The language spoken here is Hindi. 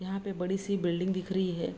यहाँ पे बड़ी सी बिल्डिंग दिख रही है।